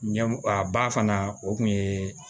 Ɲɛm a ba fana o kun ye